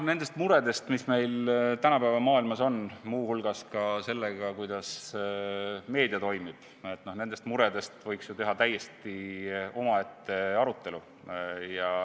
Nendest muredest, mis tänapäeva maailmas on, muu hulgas ka sellest, kuidas meedia toimib, võiks ju teha täiesti omaette arutelu.